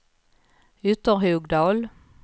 Ytterhogdal